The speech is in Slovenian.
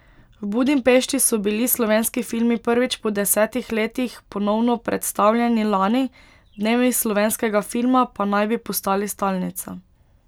V Budimpešti so bili slovenski filmi prvič po desetih letih ponovno predstavljeni lani, Dnevi slovenskega filma pa naj bi postali stalnica.